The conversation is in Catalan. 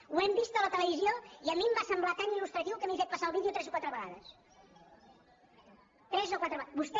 ho hem vist a la televisió i a mi em va semblar tan il·lustratiu que m’he fet passar el vídeo tres o quatre vegades tres o quatre vegades